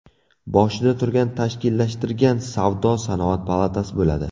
Boshida turgan, tashkillashtirgan Savdo-sanoat palatasi bo‘ladi.